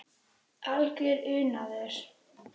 Algjör unaður.